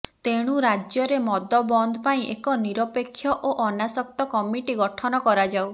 ତେଣୁ ରାଜ୍ୟରେ ମଦ ବନ୍ଦ ପାଇଁ ଏକ ନିରପେକ୍ଷ ଓ ଅନାସକ୍ତ କମିଟି ଗଠନ କରାଯାଉ